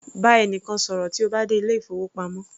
Bá ẹnìkan ṣọ̀rọ̀ tí o bá dé ilé ìfowópamọ́